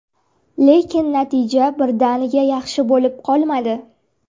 Lekin natija birdaniga yaxshi bo‘lib qolmadi.